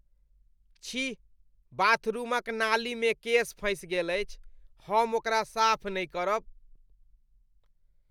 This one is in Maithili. छी! बाथरूमक नाली मे केश फँसि गेल अछि। हम ओकरा साफ नहि करब।